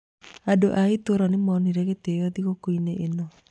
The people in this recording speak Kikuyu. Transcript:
Andũ a itũũra nĩ monire gĩtĩo thigũkũ-inĩ ĩno.